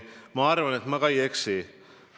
Ma arvan, et ma ka ei eksi.